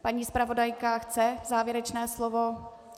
Paní zpravodajka chce závěrečné slovo?